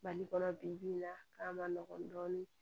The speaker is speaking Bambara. Mali kɔnɔ bi bi in na k'a ma nɔgɔn dɔɔnin